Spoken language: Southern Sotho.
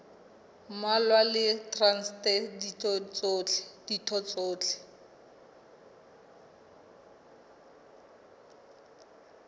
mmalwa le traste ditho tsohle